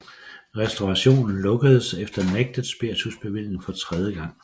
Restaurationen lukkedes efter nægtet spiritusbevilling for tredje gang